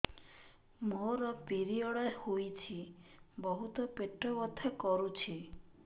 ମୋର ପିରିଅଡ଼ ହୋଇଛି ବହୁତ ପେଟ ବଥା କରୁଛି